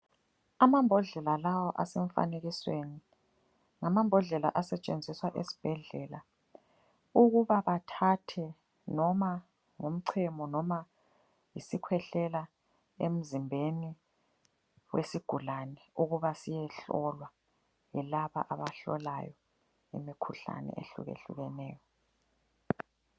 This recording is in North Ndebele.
Amambodlela lawa asemfanekisweni ngamambodlela asetshenziswa esibhedlela ukuba bathathe noma ngumchemo noma isikhwehlela emzimbeni wesigulane ukuba siyehlolwa yilaba abahlolayo imikhuhlane ehlukehlukeneyo.